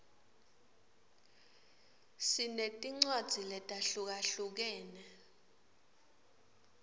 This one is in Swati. sinetincwadzi letahlukahlukene